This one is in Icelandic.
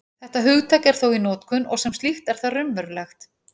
Þetta hugtak er þó í notkun, og sem slíkt er það raunverulegt.